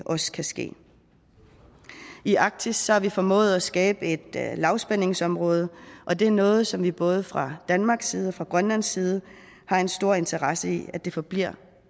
også kan ske i arktis har vi formået at skabe et lavspændingsområde og det er noget som vi både fra danmarks side og fra grønlands side har en stor interesse i forbliver